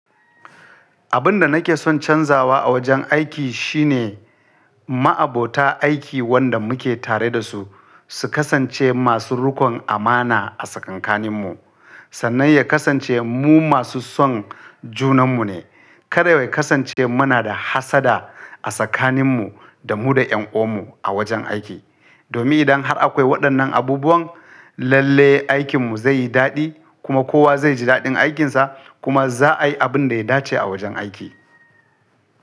Abun da nake son canzawa a wajen aiki shine, ma'abota aiki wanda muke tare da su, su kasance masu riƙon amana a tsakankaninmu. Sannan ya kasance mu masu son junanmu ne. Kada ya kasance muna da hassada a tsakaninmu da mu da ƴan'uwanmu a wajen aiki. Domin idan har akwai waɗannan abubuwan, lalle aikinmu zai yi daɗi kuma kowa zai ji daɗin aikinsa kuma za a yi abin da ya dace a wajen aiki.